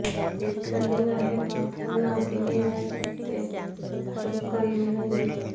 ଦୀର୍ଘ ଦିନ ହେବ ଧନ କିଣିବା ସତ୍ତ୍ୱେ ଟୋକନ ମିଳିନି